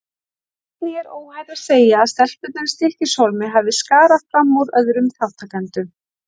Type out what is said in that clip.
Einnig er óhætt að segja að stelpurnar í Stykkishólmi hafi skarað fram úr öðrum þátttakendum.